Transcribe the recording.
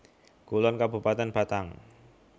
Kulon Kabupatèn Batang